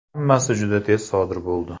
Hammasi juda tez sodir bo‘ldi.